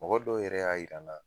Mɔgɔ dɔw yɛrɛ y'a yir'an na